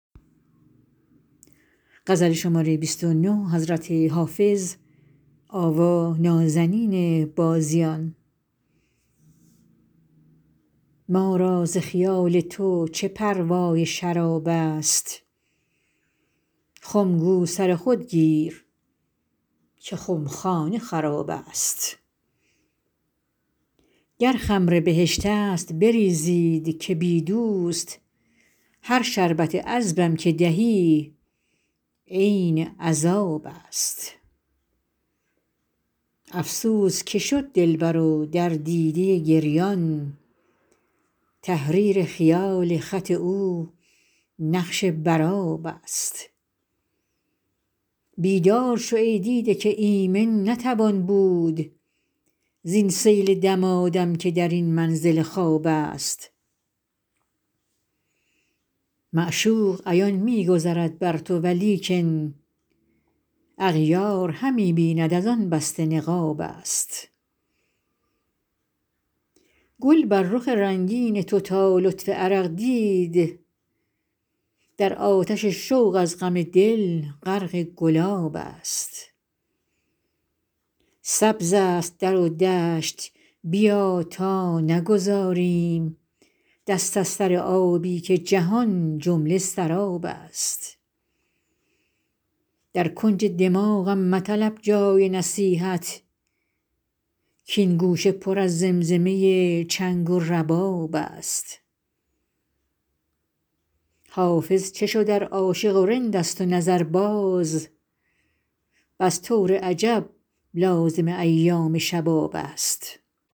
ما را ز خیال تو چه پروای شراب است خم گو سر خود گیر که خمخانه خراب است گر خمر بهشت است بریزید که بی دوست هر شربت عذبم که دهی عین عذاب است افسوس که شد دلبر و در دیده گریان تحریر خیال خط او نقش بر آب است بیدار شو ای دیده که ایمن نتوان بود زین سیل دمادم که در این منزل خواب است معشوق عیان می گذرد بر تو ولیکن اغیار همی بیند از آن بسته نقاب است گل بر رخ رنگین تو تا لطف عرق دید در آتش شوق از غم دل غرق گلاب است سبز است در و دشت بیا تا نگذاریم دست از سر آبی که جهان جمله سراب است در کنج دماغم مطلب جای نصیحت کـ این گوشه پر از زمزمه چنگ و رباب است حافظ چه شد ار عاشق و رند است و نظرباز بس طور عجب لازم ایام شباب است